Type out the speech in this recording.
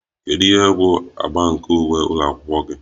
Kedu ihe bụ agba nke uwe ụlọ akwụkwọ gị?